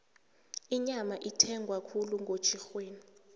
inyama ithengwa khulu ngotjhirhweni